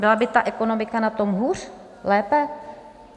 Byla by ta ekonomika na tom hůř, lépe?